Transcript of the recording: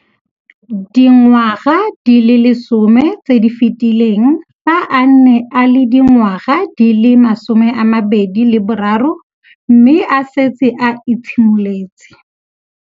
Dingwaga di le 10 tse di fetileng, fa a ne a le dingwaga di le 23 mme a setse a itshimoletse.